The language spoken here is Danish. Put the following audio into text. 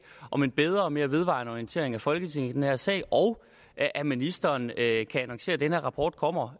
om en bedre og mere vedvarende orientering af folketinget i den her sag og at at ministeren kan annoncere at den her rapport kommer